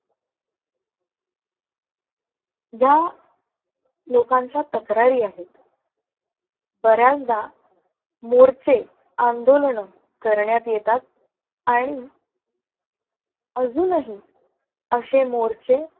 या लोकांच्या तक्रारी आहेत. बऱ्याचदा मोर्चे, आंदोलन करण्यात येतात आणि अजूनही अशे मोर्चे